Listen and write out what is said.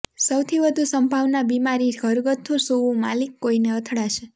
સૌથી વધુ સંભાવના બીમારી ઘરગથ્થુ સૂવું માલિક કોઇને અથડાશે